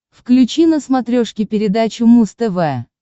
включи на смотрешке передачу муз тв